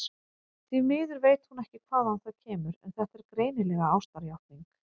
Því miður veit hún ekki hvaðan það kemur, en þetta er greinilega ástarjátning.